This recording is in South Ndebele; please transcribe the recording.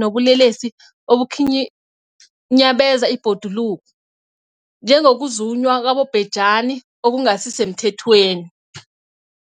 nobulelesi obukhinyabeza ibhoduluko, njengokuzunywa kwabobhejani okungasisemthethweni.